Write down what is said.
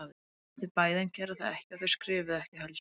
Þau lofuðu því bæði en gerðu það ekki og þau skrifuðu ekki heldur.